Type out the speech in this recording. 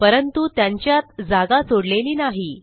परंतु त्यांच्यात जागा सोडलेली नाही